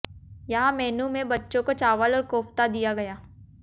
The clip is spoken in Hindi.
यहां मेन्यू में बच्चों को चावल और कोफ्ता दिया गया